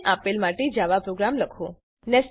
નીચે આપેલ માટે જાવા પ્રોગ્રામ લખો